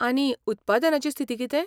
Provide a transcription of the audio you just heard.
आनी उत्पादनाची स्थिती कितें?